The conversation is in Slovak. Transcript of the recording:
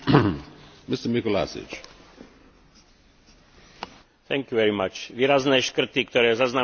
Výrazné škrty, ktoré zaznamenali v posledných rokoch mnohé členské štáty, zasiahli aj oblasť zdravotníctva.